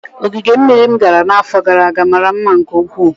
Ogige mmiri m gara n'afọ gara aga mara mma nke ukwuu